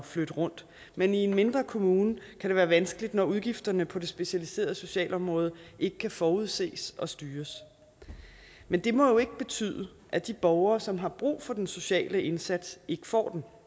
flytte rundt men i en mindre kommune kan det være vanskeligt når udgifterne på det specialiserede socialområde ikke kan forudses og styres men det må jo ikke betyde at de borgere som har brug for den sociale indsats ikke får